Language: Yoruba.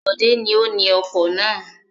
Bọ̀dé ni ó ni ọkọ̀ náà.